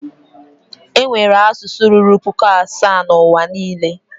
Enwere asụsụ ruru puku asaa na N'uwa niile.